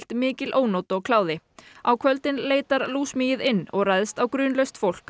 mikil ónot og kláði á kvöldin leitar inn og ræðst á grunlaust fólk